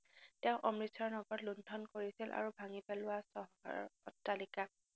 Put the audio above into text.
তেওঁ অমৃতচৰ নগৰত লুন্ঠণ কৰিছিল আৰু ভাঙি পেলোৱা চহৰৰ অট্টালিকা